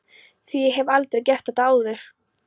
ÞVÍ AÐ ÉG HEF ALDREI GERT ÞETTA ÁÐUR!